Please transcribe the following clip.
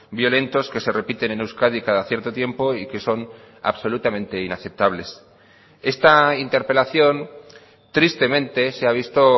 violentos que se repiten en euskadi cada cierto tiempo y que son absolutamente inaceptables esta interpelación tristemente se ha visto